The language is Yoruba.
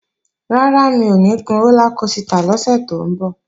Rárá, mi ò ní gun rólá kosità lọ́sẹ̀ tó ń bọ̀